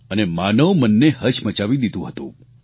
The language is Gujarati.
અને માનવ મનને હચમચાવી દીધું હતું